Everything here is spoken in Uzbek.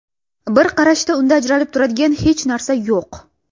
Bir qarashda unda ajralib turadigan hech narsa yo‘q.